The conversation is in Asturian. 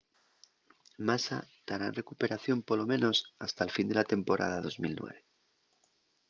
massa tará en recuperación polo menos hasta'l fin de la temporada 2009